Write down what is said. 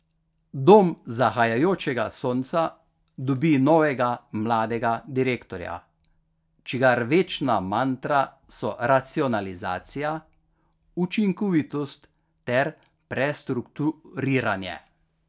Dom zahajajočega sonca dobi novega mladega direktorja, čigar večna mantra so racionalizacija, učinkovitost ter prestrukturiranje.